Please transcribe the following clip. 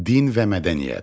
Din və mədəniyyət.